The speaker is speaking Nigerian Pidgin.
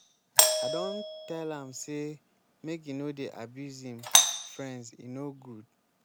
i don tell am sey make e no dey abuse im friends e no good.